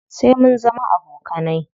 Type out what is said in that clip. Sai mun zama abokanai.